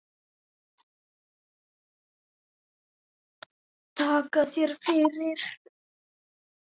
Takka þér fyrir